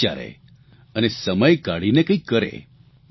તે વિચારે અને સમય કાઢીને કંઇક કરે